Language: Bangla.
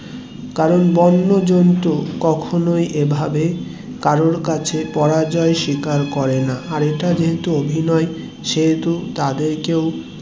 কারণ বন্য জন্তু কখনোই এভাবে কারোর কাছে পরাজয় স্বীকার করেনা আর এটা যেহেতু অভিনয় সেহেতু তাদেরকেও